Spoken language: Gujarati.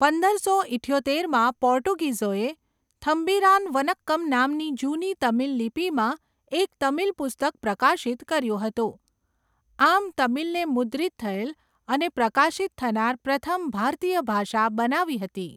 પંદરસો ઈઠ્યોતેરમાં, પોર્ટુગીઝોએ 'થમ્બિરાન વનક્કમ' નામની જૂની તમિલ લિપિમાં એક તમિલ પુસ્તક પ્રકાશિત કર્યું હતું, આમ, તમિલને મુદ્રિત થયેલ અને પ્રકાશિત થનાર પ્રથમ ભારતીય ભાષા બનાવી હતી.